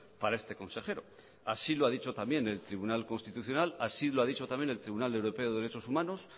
para este consejero así lo ha dicho también el tribunal constitucional así lo ha dicho también el tribunal europeo de derechos humanos